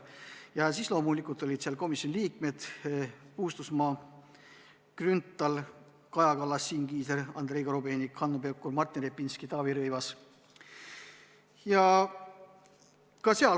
Ja loomulikult olid kohal komisjoni liikmed Paul Puustusmaa, Kalle Grünthal, Kaja Kallas, Siim Kiisler, Andrei Korobeinik, Hanno Pevkur, Martin Repinski ja Taavi Rõivas.